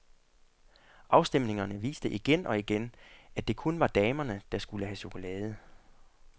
Afstemningerne viste igen og igen, at det kun var damerne, der skulle have chokolade.